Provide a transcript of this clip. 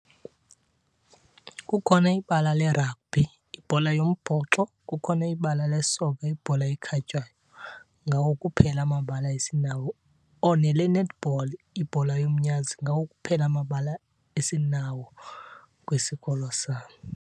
Kukhona ibala le-rugby, ibhola yombhoxo, kukhona ibala lesoka, ibhola ekhatywayo. Ngawo kuphela amabala esinawo, oh nele-netball, ibhola yomnyazi. Ngawo kuphela amabala esinawo kwisikolo sam.